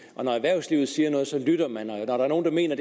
og når erhvervslivet siger noget så lytter man og når der er nogen der mener